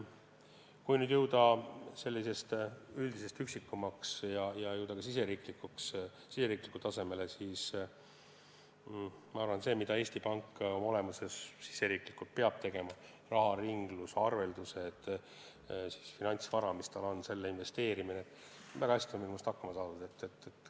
Kui nüüd sellisest üldisest pildist minna meie riigi tasandile, siis ma arvan, et sellega, mida Eesti Pank oma olemuses riigisiseselt peab tegema – raharinglus, arveldused, tema käsutuses oleva finantsvara investeerimine –, on väga hästi hakkama saadud.